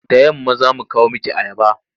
Da yamma za mu kawo miki ayaba.